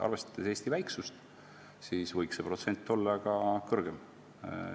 Arvestades Eesti väiksust, võiks see protsent olla ka kõrgem.